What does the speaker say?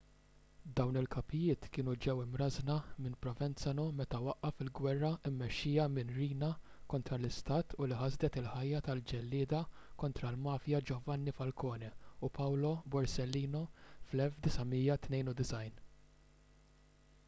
dawn il-kapijiet kienu ġew imrażżna minn provenzano meta waqqaf il-ġwerra mmexxija minn riina kontra l-istat u li ħasdet il-ħajja tal-ġellieda kontra l-mafja giovanni falcone u paolo borsellino fl-1992